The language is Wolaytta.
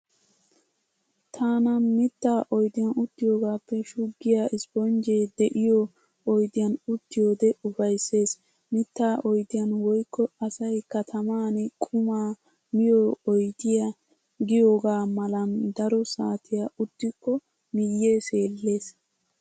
Taana mittaa oydiyan uttiyoogaappe shuggiya isponjjee de"iyoo oydiyaan uttiyoodee ufaysses. Mittaa oydiyan woykko asay kataman qumaa miyo oydiya giyooga malan daro saatiya uttikko miyyee seellees.